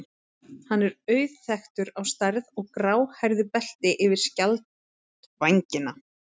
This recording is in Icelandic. Hann er auðþekktur á stærð og gráhærðu belti yfir skjaldvængina.